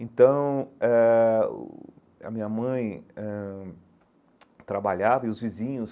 Então eh, uh a minha mãe ãh trabalhava e os vizinhos,